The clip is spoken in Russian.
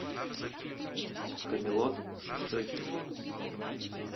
камелот шестой эпизод